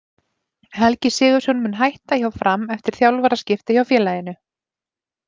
Helgi Sigurðsson mun hætta hjá Fram eftir þjálfaraskipti hjá félaginu.